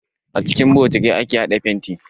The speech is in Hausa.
A cikin bokati ake haɗa fenti.